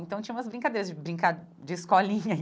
Então, tinha umas brincadeiras de brincar de escolinha.